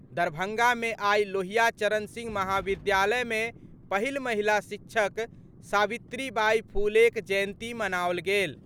दरभंगा मे आइ लोहिया चरण सिंह महाविद्यालय मे पहिल महिला शिक्षक सावित्री बाई फूलेक जयंती मनाओल गेल।